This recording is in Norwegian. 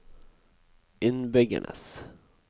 innbyggernes